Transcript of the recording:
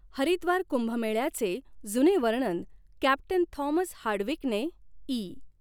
हरिद्वार कुंभमेळ्याचे जुने वर्णन कॅप्टन थॉमस हार्डविकने इ.